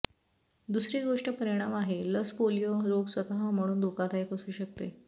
दुसरी गोष्ट परिणाम आहे लस पोलिओ रोग स्वतः म्हणून धोकादायक असू शकते